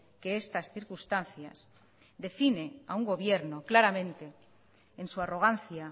que estas circunstancias define a un gobierno claramente en su arrogancia